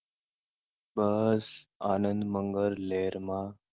બસ આનંદ મગલ લહેર મા.